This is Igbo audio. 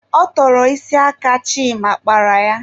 Ọ tọrọ isi aka Chima kpara ya.